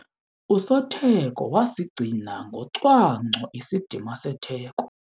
Usotheko wasigcina ngocwangco isidima setheko.